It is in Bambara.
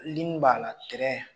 b'a la